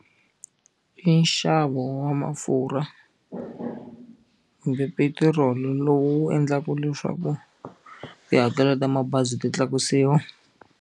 I nxavo wa mafurha kumbe petiroli lowu endlaka leswaku tihakelo ta mabazi ti tlakusiwa.